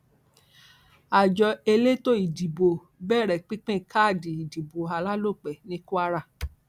àjọ elétò ìdìbò bẹrẹ pípín káàdì ìdìbò alálòpẹ ní kwara